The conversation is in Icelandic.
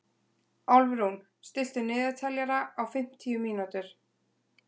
Álfrún, stilltu niðurteljara á fimmtíu mínútur.